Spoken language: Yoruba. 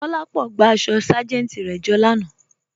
Kolápọ̀ gbà àṣọ sájẹntì rẹ jọ lànà.